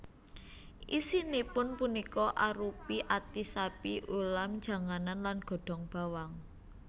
Isinipun punika arupi ati sapi ulam janganan lan godhong bawang